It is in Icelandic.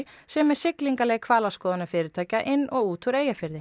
sem er siglingarleið hvalaskoðunarfyrirtækja inn og út úr Eyjafirði